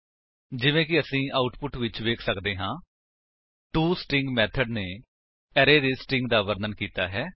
ਜਿਵੇਕਿ ਅਸੀ ਆਉਟਪੁਟ ਵਿੱਚ ਵੇਖ ਸੱਕਦੇ ਹਾਂ ਟੋਸਟਰਿੰਗ ਮੇਥਡ ਨੇ ਅਰੇ ਦੇ ਸਟਰਿੰਗ ਦਾ ਵਰਣਨ ਕੀਤਾ ਹੈ